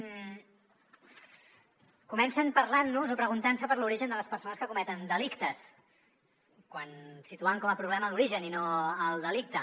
comencen parlant nos o preguntant se per l’origen de les persones que cometen delictes situant com a problema l’origen i no el delicte